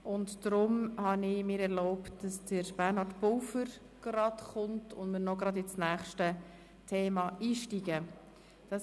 Deshalb habe ich mir erlaubt, Bernhard Pulver hierher zu bitten, damit wir gerade noch ins nächste Thema einsteigen können.